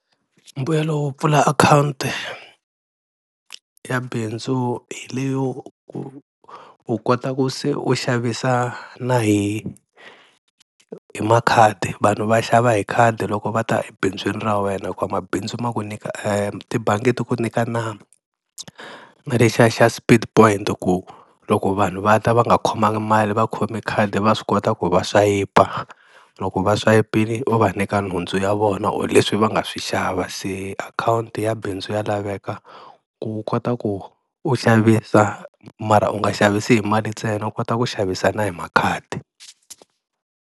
Mbuyelo wo pfula akhawunti ya bindzu hi leyo ku u kota ku se u xavisa na hi hi makhadi vanhu va xava hi khadi loko va ta ebindzwini ra wena hikuva mabindzu ma ku nyika tibangi ku nyika na na lexiya xa speed point ku loko vanhu va ta va nga khomangi mali va khomi khadi va swi kota ku va swayipa loko va swayipile u va nyika nhundzu ya vona or leswi va nga swi xava, se akhawunti ya bindzu ya laveka ku kota ku u xavisa mara u nga xavisi hi mali ntsena u kota ku xavisa na hi makhadi.